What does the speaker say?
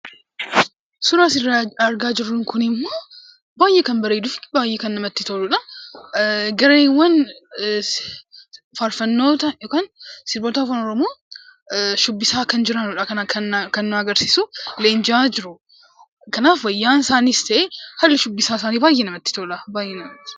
Suuraan asirra argaa jirru kun immoo, baay'ee kan bareeduu fi baay'ee kan namatti toludha. Gareewwaan faarfannoota yookan sirboota afaan Oromoo shubbisaa kan jiraniidha kan nutti agarsiisu. Leenji'aa jiru. Kanaaf, wayyaan isaaniis, haalli shubbisa isaaniis baay'ee namatti tola.